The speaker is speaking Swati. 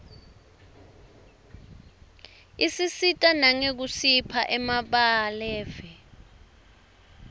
isisita nangekusipha emabalave